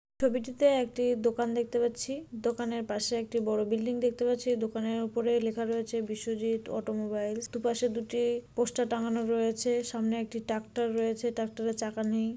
ছবিটিতে একটি দোকান দেখতে পাচ্ছি দোকানের পাশে একটি বড় বিল্ডিং দেখতে পাচ্ছি দোকানের ওপরে লেখা রয়েছে বিশ্বজিৎ অটো মাইল দুপাশে দুটি পোস্টার টাঙানো রয়েছে সামনে একটি ট্র্যাক্টর রয়েছে ট্রাক্টরের চাকা নেই।